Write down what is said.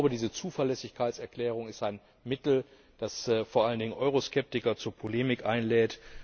Diese Zuverlässigkeitserklärung ist ein Mittel, das vor allen Dingen Euroskeptiker zu Polemik einlädt.